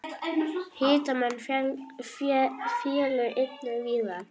Hitamet féllu einnig víðar.